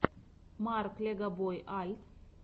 марк легобой альт